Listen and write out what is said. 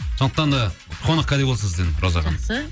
сондықтан да қонақкәде болсын сізден роза ханым жақсы